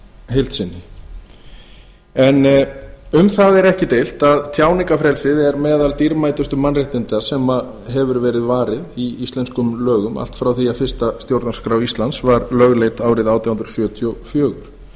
heild sinni en um það er ekki deilt að tjáningarfrelsið er meðal dýrmætustu mannréttinda og hefur verið varið í íslenskum lögum allt frá því að fyrsta stjórnarskrá íslands var lögleidd árið átján hundruð sjötíu og fjögur þó